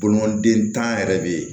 Bolimaden tan yɛrɛ bɛ yen